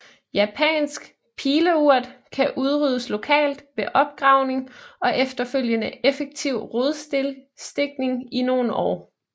Japansk Pileurt kan udryddes lokalt ved opgravning og efterfølgende effektiv rodstikning i nogle år